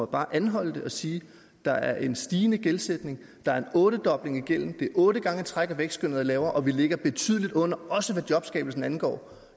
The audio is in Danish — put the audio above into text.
bare at anholde det og sige der er en stigende gældsætning der er en ottedobling det er otte gange i træk at vækstskønnet er lavere og vi ligger betydeligt under også hvad jobskabelsen angår